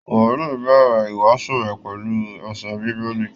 Wòlí ń bẹ̀rẹ̀ ìwásùú rẹ̀ pẹ̀lú ẹsẹ bíbélì